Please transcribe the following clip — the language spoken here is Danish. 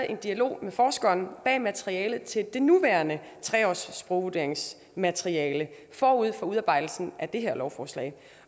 en dialog med forskeren bag materialet til det nuværende sprogvurderingsmateriale forud for udarbejdelsen af det her lovforslag